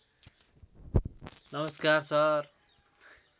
नमस्कार सर